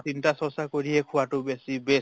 চিন্তা চৰ্চা কৰিহে খোৱাতো বেছি best